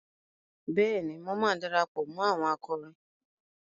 Bẹ́ẹ̀ni, mo máa darapọ̀ mó àwọn akọrin.